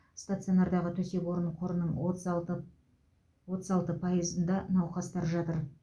стационардағы төсек орын қорының отыз алты отыз алты пайызында науқастар жатыр